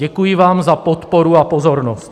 Děkuji vám za podporu a pozornost.